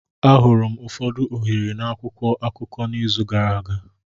Ahụrụ m ụfọdụ ohere na akwụkwọ akụkọ n'izu gara aga.